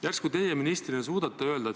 Järsku teie ministrina suudate seda öelda.